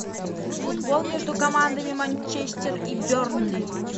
футбол между командами манчестер и бернли